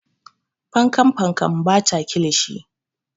Fankan fankan ba ta kilishi.